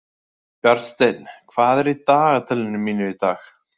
Bjarnsteinn, hvað er í dagatalinu mínu í dag?